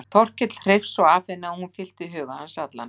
Þórkell hreifst svo af henni að hún fyllti huga hans allan.